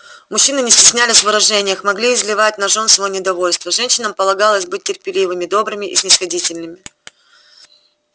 мужчины не стеснялись в выражениях могли изливать на жён своё недовольство женщинам полагалось быть терпеливыми добрыми и снисходительными